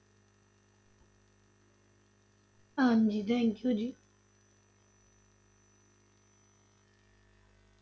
ਹਾਂਜੀ thank you ਜੀ।